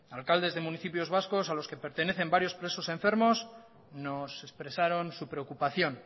alcaldes de municipios vascos a los que pertenecen varios presos enfermos nos expresaron su preocupación